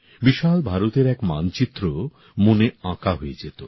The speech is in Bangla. বিশাল ভারতের এক মানচিত্র মনে আঁকা হয়ে যেত